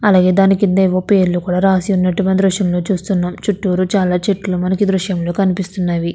అలాగే దాని కింద ఎదో పేరు రాసిఉన్నట్టుగా దుర్శ్యంలో చూస్తున్నాం చుట్టూ చాలా చెట్లు దృశ్యంలో మనకి కనిపిస్తున్నవి.